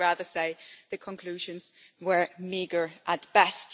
I would rather say the conclusions were meagre at best.